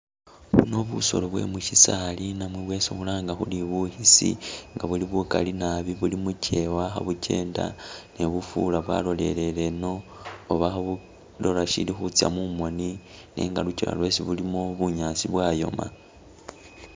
Buno busolo bwe mushisaali namwe bwesi khulanga khuri bukhisi, nga buli bukali naabi buli mukyewa kha bukyenda ne bufura bwalolelele ino oba khabulola shili khutsya mumoni nenga lukyewa lwesi bulimo bunyaasi bwayoma.